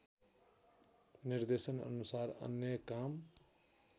निर्देशनअनुसार अन्य काम